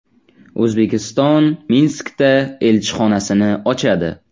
O‘zbekiston Minskda elchixonasini ochadi.